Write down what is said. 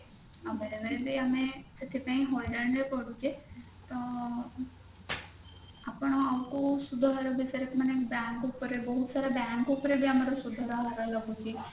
ଆଉ ବେଳେବେଳେ ବି ଆମେ ସେଥିପାଇଁ ହଇରାଣ ରେ ପଡୁଛେ ତ ଆପଣ ଆମକୁ ସୁଧହାର ବିଷୟରେ ମାନେ bank ବିଷୟରେ ବହୁତସାରା bank ଉପରେ ବି ଆମର ସୁଧହାର ରହୁଛି